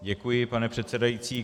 Děkuji, pane předsedající.